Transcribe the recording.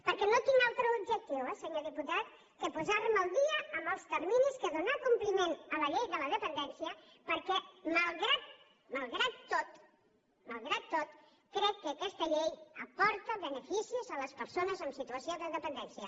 perquè no tinc altre objectiu eh senyor diputat que posarme al dia amb els terminis que donar compliment a la llei de la dependència perquè malgrat tot crec que aquesta llei aporta beneficis a les persones en situació de dependència